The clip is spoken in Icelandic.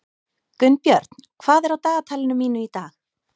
Gunnbjörn, hvað er á dagatalinu mínu í dag?